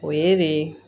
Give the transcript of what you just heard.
O ye de